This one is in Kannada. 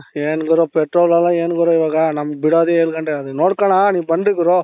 ಏನ್ ಗುರು petrol ಎಲ್ಲ ಏನ್ ಗುರು ಇವಾಗ ನಮಗೆ ಬಿಡೋಧೆ ಏಳು ಗಂಟೆಗೆ ಅದುನ್ನನೋಡ್ಕೊಳಣ ನೀವು ಬನ್ನಿ ಗುರು